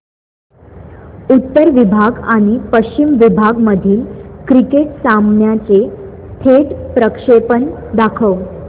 उत्तर विभाग आणि पश्चिम विभाग मधील क्रिकेट सामन्याचे थेट प्रक्षेपण दाखवा